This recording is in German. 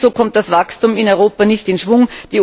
Ebenso kommt das Wachstum in Europa nicht in Schwung.